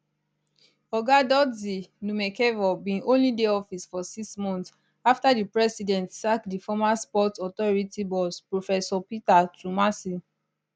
oga dodzie numekevor bin only dey office for six months afta di president sack di former sports authority boss professor peter twumasi